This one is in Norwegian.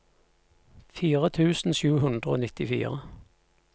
fire tusen sju hundre og nittifire